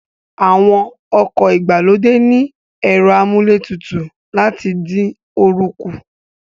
Àwọn ọkọ̀ ìgbàlódé ní ẹ̀rọ amúlé tutù láti dín oorun kù